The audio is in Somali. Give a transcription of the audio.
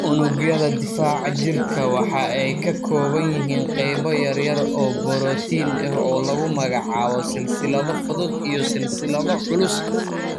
Unugyada difaaca jirka waxa ay ka kooban yihiin qaybo yaryar oo borotiin ah oo lagu magacaabo silsilado fudud iyo silsilado culus.